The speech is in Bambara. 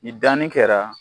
Ni danni kɛra